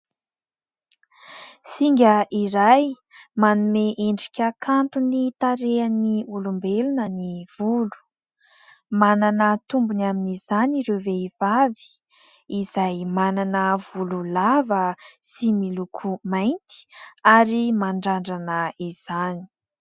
Singa iray manome endrika kanto ny tarehin'ny olombelona ny volo. Manana tombony amin'izany ireo vehivavy izay manana volo lava sy miloko mainty ary mandrandrana izany.